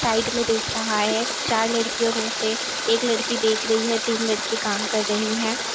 Side में देख रहा है चार लड़कियों में से एक लड़की देख रही है तीन लड़की काम कर रही है।